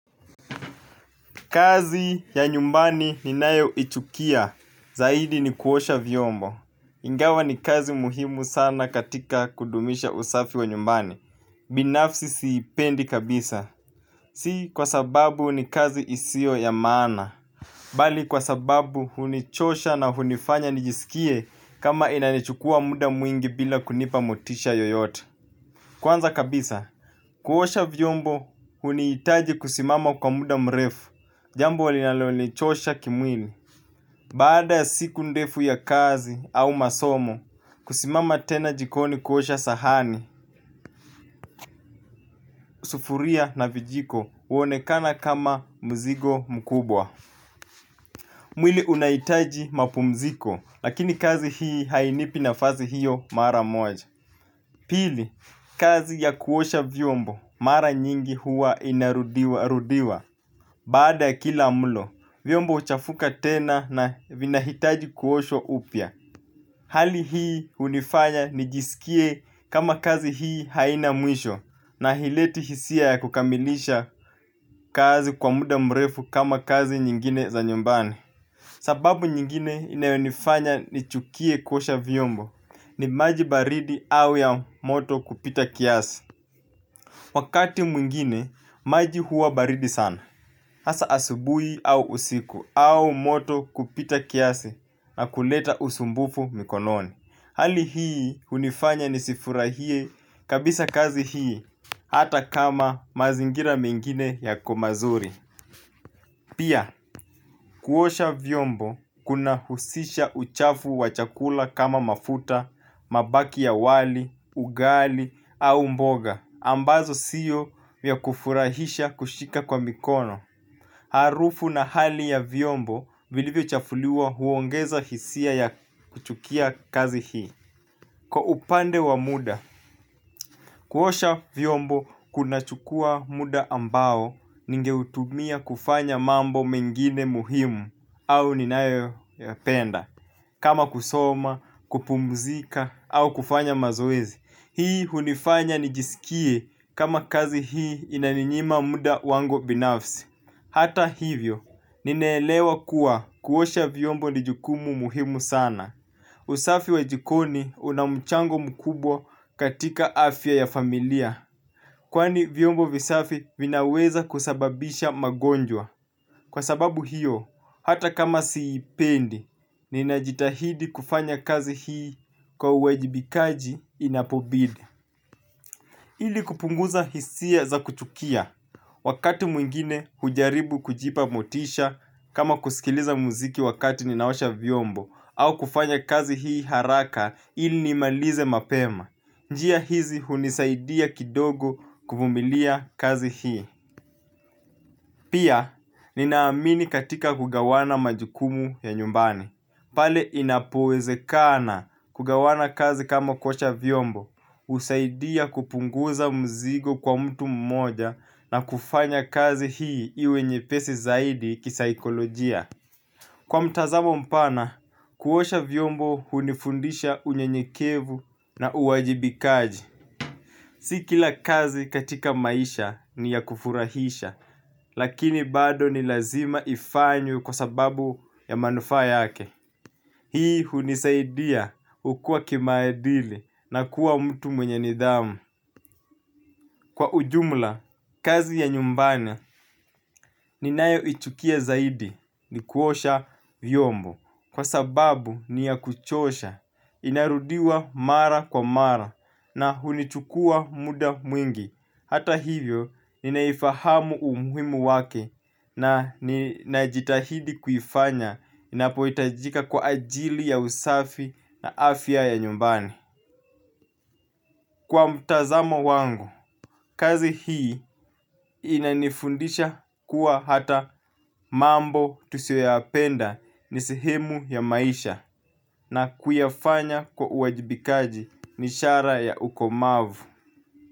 Kazi ya nyumbani ninayoichukia zaidi ni kuosha vyombo. Ingawa ni kazi muhimu sana katika kudumisha usafi wa nyumbani binafsi siipendi kabisa. Si kwa sababu ni kazi isiyo ya maana. Bali kwa sababu hunichosha na hunifanya nijisikie kama inanichukua muda mwingi bila kunipa motisha yoyote. Kwanza kabisa, kuosha vyombo hunihitaji kusimama kwa muda mrefu. Jambo linalonichosha kimwili. Baada ya siku ndefu ya kazi au masomo kusimama tena jikoni kuosha sahani sufuria na vijiko huonekana kama mzigo mkubwa. Mwili unahitaji mapumziko lakini kazi hii hainipi nafasi hiyo mara moja. Pili, kazi ya kuosha vyombo mara nyingi huwa inarudiwarudiwa. Baada ya kila mlo vyombo huchafuka tena na vinahitaji kuoshwa upya. Hali hii hunifanya nijisikie kama kazi hii haina mwisho. Na haileti hisia ya kukamilisha kazi kwa muda mrefu kama kazi nyingine za nyumbani. Sababu nyingine inayonifanya nichukie kuosha vyombo ni maji baridi au ya moto kupita kiasi. Wakati mwingine, maji huwa baridi sana. Hasa asubuhi au usiku, au moto kupita kiasi na kuleta usumbufu mikononi. Hali hii hunifanya nisifurahie kabisa kazi hii hata kama mazingira mengine yako mazuri. Pia kuosha vyombo kunahusisha uchafu wa chakula kama mafuta, mabaki ya wali, ugali au mboga ambazo sio vya kufurahisha kushika kwa mikono. Harufu na hali ya vyombo vilivyochafuliwa huongeza hisia ya kuchukia kazi hii. Kwa upande wa muda, kuosha vyombo kunachukua muda ambao ningeutumia kufanya mambo mengine muhimu au ninayoyapenda. Kama kusoma, kupumzika au kufanya mazoezi. Hii hunifanya nijisikie kama kazi hii inaninyima muda wangu binafsi. Hata hivyo, ninaelewa kuwa kuosha vyombo ni jukumu muhimu sana. Usafi wa jikoni una mchango mkubwa katika afya ya familia. Kwani vyombo visafi vinaweza kusababisha magonjwa. Kwa sababu hiyo, hata kama siipendi, ninajitahidi kufanya kazi hii kwa uwajibikaji inapobidi. Ili kupunguza hisia za kuchukia. Wakati mwingine hujaribu kujipa motisha kama kusikiliza muziki wakati ninaosha vyombo au kufanya kazi hii haraka ili nimalize mapema. Njia hizi hunisaidia kidogo kuvumilia kazi hii. Pia, ninaamini katika kugawana majukumu ya nyumbani. Pale inapowezekana kugawana kazi kama kuosha vyombo husaidia kupunguza mzigo kwa mtu mmoja na kufanya kazi hii iwe nyepesi zaidi kisaikolojia. Kwa mtazamo mpana, kuosha vyombo hunifundisha unyenyekevu na uwajibikaji si kila kazi katika maisha ni ya kufurahisha lakini bado ni lazima ifanywe kwa sababu ya manufaa yake. Hii hunisaidia kukua kimaadili na kuwa mtu mwenye nidhamu. Kwa ujumla, kazi ya nyumbani ninayoichukia zaidi ni kuosha vyombo. Kwa sababu ni ya kuchosha, inarudiwa mara kwa mara na hunichukua muda mwingi. Hata hivyo, ninaifahamu umuhimu wake na ninajitahidi kufanya inapohitajika kwa ajili ya usafi na afya ya nyumbani. Kwa mtazamo wangu, kazi hii inanifundisha kuwa hata mambo tusiyoyapenda ni sehemu ya maisha na kuyafanya kwa uwajibikaji ni ishara ya ukomavu.